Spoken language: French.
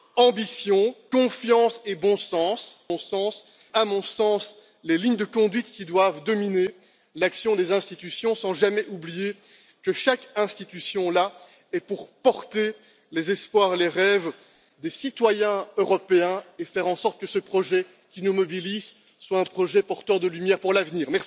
Ambition, confiance et bon sens sont, à mon sens, les lignes de conduite qui doivent dominer l'action des institutions, sans jamais oublier que chaque institution est là pour porter les espoirs et les rêves des citoyens européens et faire en sorte que ce projet qui nous mobilise soit un projet porteur de lumière pour l'avenir.